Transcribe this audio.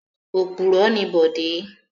Òpùrọ́ ni Bọ̀dé.